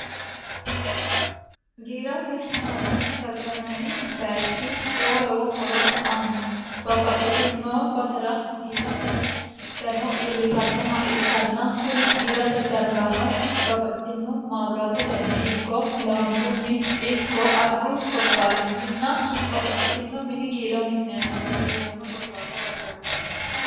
giirate dano gargarranni bayichi lowo lowo horo aanno babbaxxitino basera giirate dano iillitannoha ikkanna kuni giirate danorano babbaxxitino maabiraatetenni ikko laambunni ikko arru korkaatinninna babbaxxitino mini giira mikiniatinni iillanno korkaata gargartanno